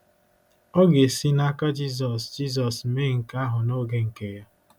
Ọ ga-esi n’aka Jizọs Jizọs mee nke ahụ n’oge nke Ya.